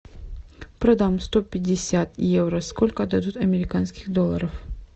продам сто пятьдесят евро сколько дадут американских долларов